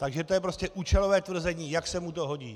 Takže je to prostě účelové tvrzení, jak se mu to hodí.